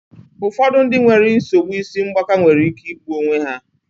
Ụfọdụ ndị nwere nsogbu isi ngbaka nwere ike igbu onwe ha.